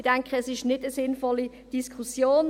Ich denke, das ist nicht eine sinnvolle Diskussion.